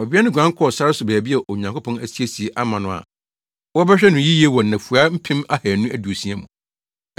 Ɔbea no guan kɔɔ sare so baabi a Onyankopɔn asiesie ama no a wɔbɛhwɛ no yiye wɔ nnafua mpem ahannu aduosia mu.